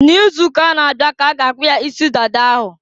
N'izuuka na-abịa ka a ga akpụ ya isi dada ahụ.